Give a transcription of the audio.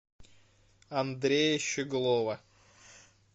андрея щеглова